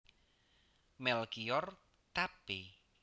Melkior Tappy